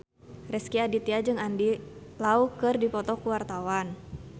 Rezky Aditya jeung Andy Lau keur dipoto ku wartawan